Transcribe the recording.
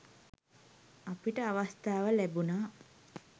අපිට අවස්ථාව ලැබුණා